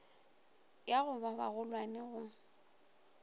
ya go ba bagolwane go